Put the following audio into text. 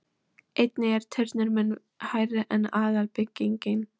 Einnig er turninn mun hærri en aðalbyggingin.